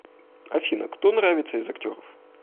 афина кто нравится из актеров